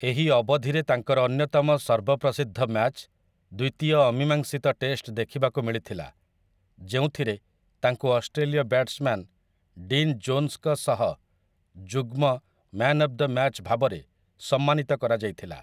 ଏହି ଅବଧିରେ ତାଙ୍କର ଅନ୍ୟତମ ସର୍ବପ୍ରସିଦ୍ଧ ମ୍ୟାଚ୍, ଦ୍ୱିତୀୟ ଅମୀମାଂସିତ ଟେଷ୍ଟ ଦେଖିବାକୁ ମିଳିଥିଲା, ଯେଉଁଥିରେ ତାଙ୍କୁ ଅଷ୍ଟ୍ରେଲୀୟ ବ୍ୟାଟ୍ସମ୍ୟାନ୍ ଡିନ୍ ଜୋନ୍ସ୍‌ଙ୍କ ସହ ଯୁଗ୍ମ 'ମ୍ୟାନ୍ ଅଫ୍ ଦ ମ୍ୟାଚ୍' ଭାବରେ ସମ୍ମାନିତ କରାଯାଇଥିଲା ।